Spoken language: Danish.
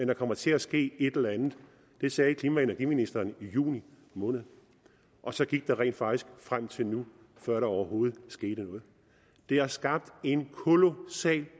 der kommer til at ske et eller andet det sagde klima og energiministeren i juni måned og så gik der rent faktisk tid frem til nu før der overhovedet skete noget det har skabt en kolossal